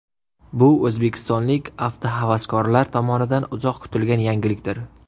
Bu o‘zbekistonlik avtohavaskorlar tomonidan uzoq kutilgan yangilikdir.